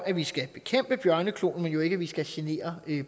at vi skal bekæmpe bjørnekloen men jo ikke vi skal genere